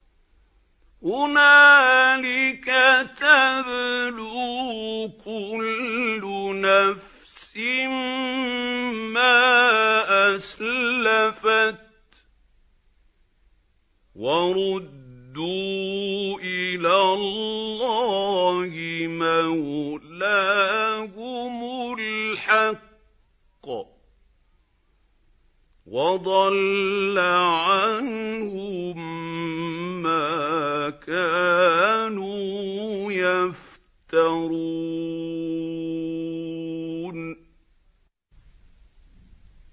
هُنَالِكَ تَبْلُو كُلُّ نَفْسٍ مَّا أَسْلَفَتْ ۚ وَرُدُّوا إِلَى اللَّهِ مَوْلَاهُمُ الْحَقِّ ۖ وَضَلَّ عَنْهُم مَّا كَانُوا يَفْتَرُونَ